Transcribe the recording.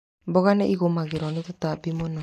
Mboga nĩ igũmagĩrwo nĩ tũtambi mũno.